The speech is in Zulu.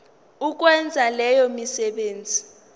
ukwenza leyo misebenzi